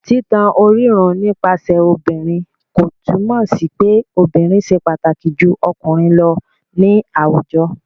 Títan orírun nípasẹ̀ obìnrin kò túmọ̀ sí pé obìnrin ṣe pàtàkì ju ọkùnrin lọ ní àwùjọ.